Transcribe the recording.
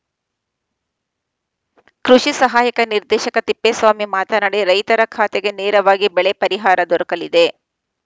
ಕೃಷಿ ಸಹಾಯಕ ನಿರ್ದೇಶಕ ತಿಪ್ಪೇಸ್ವಾಮಿ ಮಾತನಾಡಿ ರೈತರ ಖಾತೆಗೆ ನೇರವಾಗಿ ಬೆಳೆ ಪರಿಹಾರ ದೊರಕಲಿದೆ